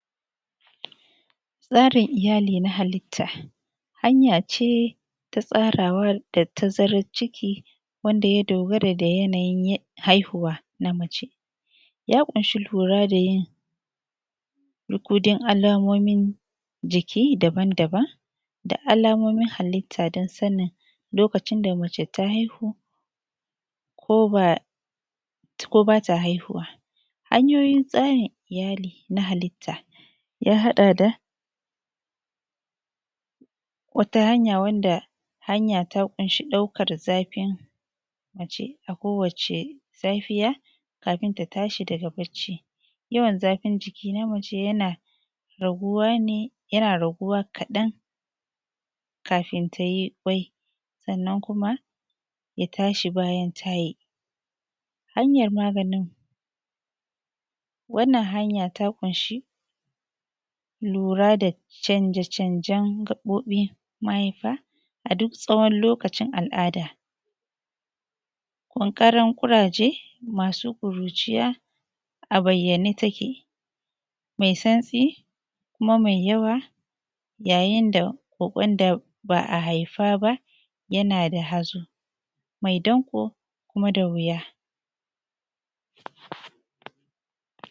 tsarin iyali na halitta hanyace ta tsarawa da tazaran ciki wanda ya dogara da yanayin ciki haihuwa na mace ya kunshi lura da yin lukudin alamomin jiki daban-daban da alamomin halitta da sani lokacin da mace ta haihu koba ta haihuwa hanyoyin tsarin iyali na halitta ya haɗa da wata hanya wadda hanya ta ƙunshi ɗaukar zafin mace a kowace safiya kafin ta tashi daga barci yawan zafin jikin mace yana raguwa ne yana raguwa kaɗan kafin ta yi kwai sannan kuma ya tashi bayan ta yi ta hanya magani wannan hanya ta ƙunci lura da canje-cenjen gaɓoɓin mahaifa a duk tsawon lokacin al’ada ƙanƙaran ƙuraje masu kuruciya a bayyane take mai santsi kuma mai yawa ya yinda kwai waɗan da ba a haifa ba yana da hazo mai danƙo kuma da wuya